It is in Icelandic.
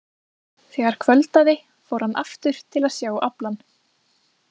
Þegar kvöldaði fór hann aftur til að sjá aflann.